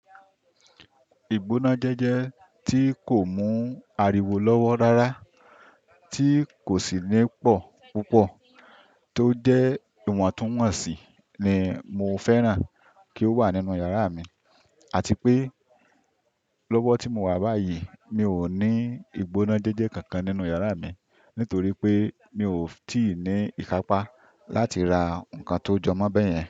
Ìgbóná jẹ́jẹ́ tí kò mú ariwo lọ́wọ́ rárá, tí kò sì ní pọ̀ púpọ̀ tó jẹ́ ìwọ̀ntúnwọ̀nsì ni mo fẹ́ràn kí ó wà nínú yàrá mi àti pé lọ́wọ́ tí mo wà báyìí mi ò ní ìgbóná jẹ́jẹ́ kankan nínú yàrá mi nítorí pé mi ò tí ì ní ìkápá láti ra nǹkan tó jọmọ́ bẹ́yẹn.